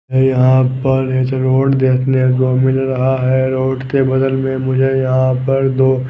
ये यहां पर एक रोड देखने को मिल रहा है रोड के बगल में मुझे यहां पर दो--